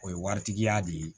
O ye waritigiya de ye